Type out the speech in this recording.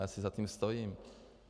Já si za tím stojím.